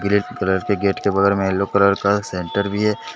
Green colour के gate के बगल में येलो कलर का शटर भी है।